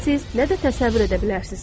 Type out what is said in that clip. siz, nə də təsəvvür edə bilərsiniz.